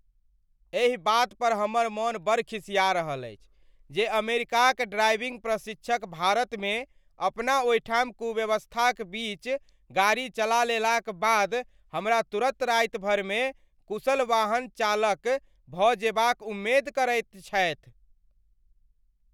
एहि बात पर हमर मन बड़ खिसिया रहल अछि जे अमेरिकाक ड्राइविंग प्रशिक्षक भारत में अपना ओहिठाम कुव्यवस्था क बीच गाड़ी चला लेलाक बाद हमरा तुरंत राति भरि में कुशल वाहन चालकभ जेबा क उमेद करैत छथि ।